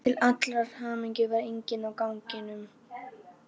Til allrar hamingju var enginn á ganginum.